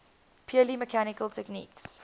purely mechanical techniques